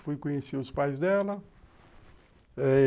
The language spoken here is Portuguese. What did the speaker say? Fui conhecer os pais dela eh